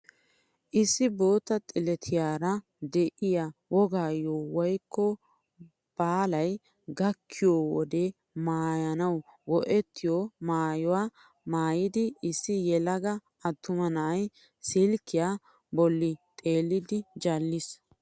Issi bootta "xilettiyaara" de'iyaa wogaayo woykko baalay gakkiyoo wode maayanawu go"ettiyoo maayuwaa maayida issi yelaga attuma na'ay silkkiyaa bolli xeelliidi jalliis.